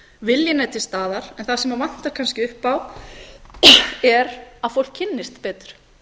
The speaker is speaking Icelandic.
viljinn er til staðar en það sem vantar kannski upp á er að fólk kynnist betur